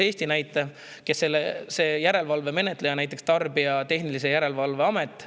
Võtan näiteks Eesti järelevalve menetleja, Tarbijakaitse ja Tehnilise Järelevalve Ameti.